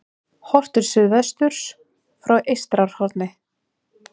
Horft til suðvesturs frá Eystrahorni.